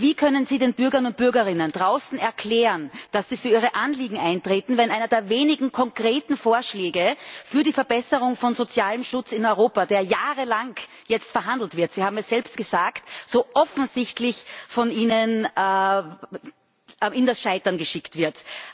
Wie können Sie den Bürgerinnen und Bürgern draußen erklären, dass Sie für ihre Anliegen eintreten, wenn einer der wenigen konkreten Vorschläge für die Verbesserung von sozialem Schutz in Europa, über den jetzt jahrelang verhandelt wird Sie haben es selbst gesagt so offensichtlich von Ihnen zum Scheitern gebracht wird?